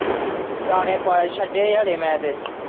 ਦਾਣੇ ਪਾ ਛੱਡੇ ਹਲੇ ਮੈਂ ਤੇ।